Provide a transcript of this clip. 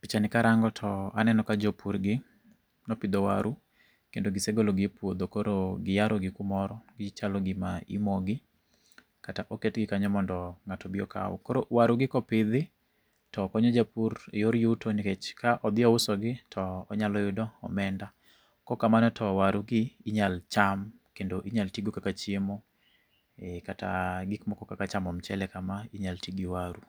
Pichani ni karango, to aneno ka jopurgi nopidho waru, kendo gisegolo gi e puodho. Koro giyaro gi kamoro, gichalo gima imoyo gi, kata oketgi kanyo mondo ngáto obi okaw. Koro waru gi kopidhi, to konyo japur e yor yuto nikech, ka odhi ouso gi to onyalo yudo omenda. Kok kamano to waru gi inyalo cham, kendo inyalo ti godo kaka chiemo. Ee kata gik moko kaka chamo mchele kama, inyalo ti gi waru.